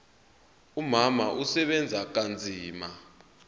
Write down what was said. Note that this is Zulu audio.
umama usebenza kanzima